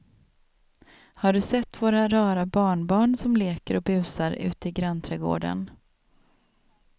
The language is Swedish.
Har du sett våra rara barnbarn som leker och busar ute i grannträdgården!